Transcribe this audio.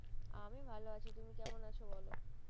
আমি ভালো আছি তুমি কেমন আছো বলো,